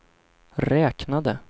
räknade